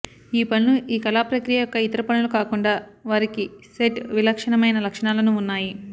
ఈ పనులు ఈ కళా ప్రక్రియ యొక్క ఇతర పనులు కాకుండా వారికి సెట్ విలక్షణమైన లక్షణాలను ఉన్నాయి